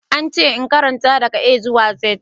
An ce in karanta daga A zuwa Z.